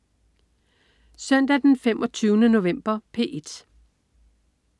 Søndag den 25. november - P1: